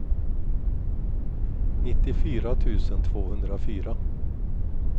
nittiofyra tusen tvåhundrafyra